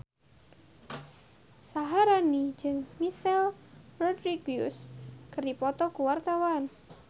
Syaharani jeung Michelle Rodriguez keur dipoto ku wartawan